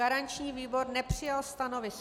Garanční výbor nepřijal stanovisko.